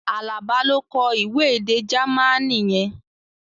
Alaba ló kọ ìwé èdè Jamaní yẹn